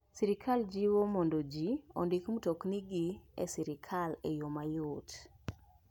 Sirkal jiwo mondo ji ondik mtokni gi sirkal e yo mayot.